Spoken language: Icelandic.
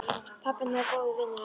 Pabbi hennar er góður vinur hans.